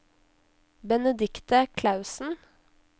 Benedicte Klausen